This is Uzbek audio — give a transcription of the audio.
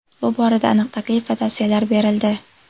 Bu borada aniq taklif va tavsiyalar berildi.